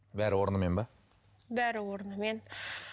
бәрі орнымен ба бәрі орнымен